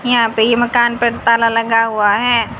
यहां पे ये मकान पर तला लगा हुआ है।